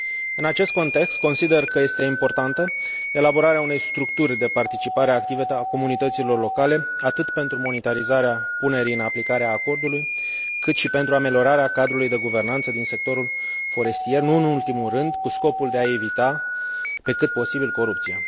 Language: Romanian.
În acest context, consider că este importantă elaborarea unei structuri de participare activă a comunităților locale, atât pentru monitorizarea punerii în aplicare a acordului, cât și pentru ameliorarea cadrului de guvernanță din sectorul forestier și, nu în ultimul rând, cu scopul de a evita, pe cât posibil, corupția.